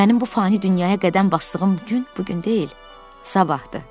Mənim bu fani dünyaya qədəm basdığım gün bu gün deyil, sabahdır.